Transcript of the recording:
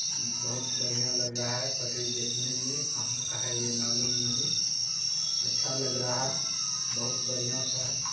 बहुत बड़ीया लग रहा है पटरी देखने मे कहा का है ये मालूम नहीं। अच्छा लग रहा है। बहुत बढ़िया सा है।